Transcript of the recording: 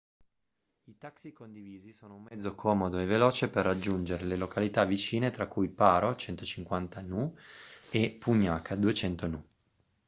i taxi condivisi sono un mezzo comodo e veloce per raggiungere le località vicine tra cui paro 150 nu e punakha 200 nu